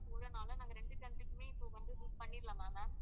போறதுனால நாங்க றெண்டு country க்குமே இப்போ வந்து book பண்ணிடலாமா ma'am